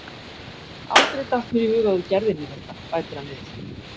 Aldrei datt mér í hug að þú gerðir mér þetta, bætir hann við.